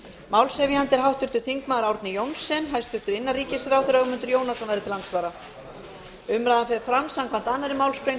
málshefjandi er háttvirtur þingmaður árni johnsen og innanríkisráðherra ögmundur jónasson verður til andsvara umræðan fer fram samkvæmt annarri málsgrein